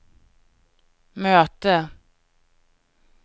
möte